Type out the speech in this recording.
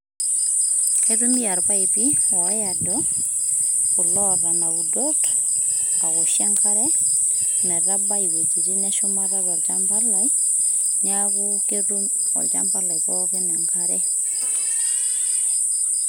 Aitumia irpaipi oodo oota ina udot aoshie enkare metabai iwuejitin eshumata tolchamba lai neeku ketum olchamba lai pookin enkare.